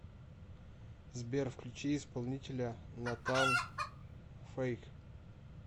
сбер включи исполнителя натан фэйк